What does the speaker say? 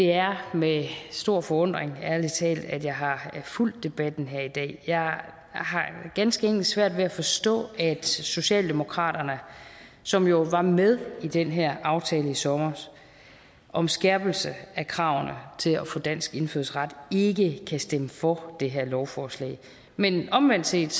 er med stor forundring at jeg har fulgt debatten her i dag jeg har ganske enkelt svært ved at forstå at socialdemokraterne som jo var med i den her aftale i sommer om skærpelse af kravene til at få dansk indfødsret ikke kan stemme for det her lovforslag men omvendt set